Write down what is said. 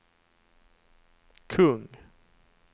kung